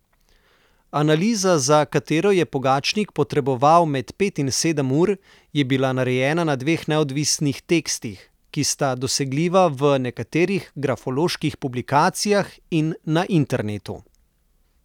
Analiza, za katero je Pogačnik potreboval med pet in sedem ur, je bila narejena na dveh neodvisnih tekstih, ki sta dosegljiva v nekaterih grafoloških publikacijah in na internetu.